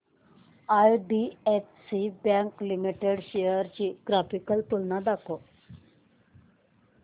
IDFC bank limited shares ची graphical तुलना दाखव